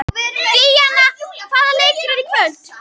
Díanna, hvaða leikir eru í kvöld?